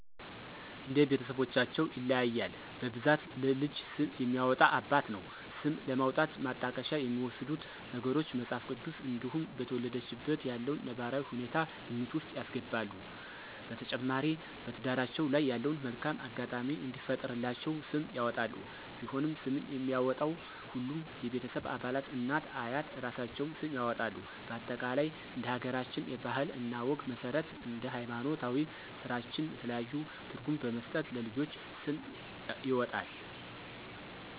እንደ ቤተስቦቻቸው ይለያያል በብዛት ለልጅ ስም የሚያወጣ አባት ነው። ስም ለማውጣት የማጣቀሻ የሚወስዱት ነገሮች:- መጽሐፍ ቅዱስ እንዲሁም በተወለደችበት ያለውን ነባራዊ ሁኔታ ግምት ውስጥ ያስገባሉ። በተጨማሪ በትዳራቸው ላይ ያለውን መልካም አጋጣሚ እንዲፈጥርላቸው ስም ያወጣሉ። ቢሆንም ስምን የሚያወጣው ሁሉም የቤተሰብ አባላት እናት፤ አያት እራሳቸውም ስም ያወጣሉ በአጠቃላይ እንደ ሀገራችን ባህል እና ወግ መስረት እንደ ሀይማኖታዊ ስራታችን የተለያዩ ትርጉም በመስጠት ለልጆች ስም ይወጣል